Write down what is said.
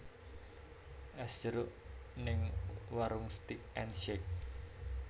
Es jeruk ning Waroenk Steak and Shake